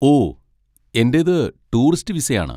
ഓ, എന്റേത് ടൂറിസ്റ്റ് വിസയാണ്.